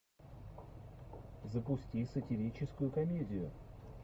запусти сатирическую комедию